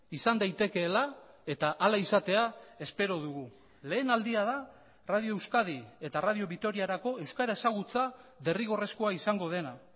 izan daitekeela eta hala izatea espero dugu lehen aldia da radio euskadi eta radio vitoriarako euskara ezagutza derrigorrezkoa izango dena